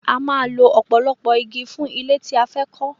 A máa lọ ọ̀pọ̀lọpọ̀ igi fún ilé tí a fẹ́ kọ́